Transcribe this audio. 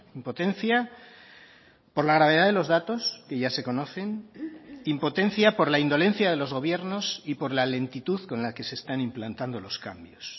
impotencia por la gravedad de los datos que ya se conocen impotencia por la indolencia de los gobiernos y por la lentitud con la que se están implantando los cambios